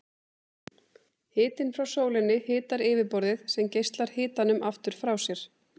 Hitinn frá sólinni hitar yfirborðið sem geislar hitanum aftur frá sér.